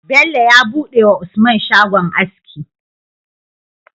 Bello ya buɗe wa usman shagon aski